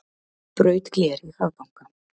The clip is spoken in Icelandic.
Braut gler í hraðbanka